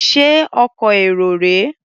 Ṣé ọkọ̀ èrò rèé?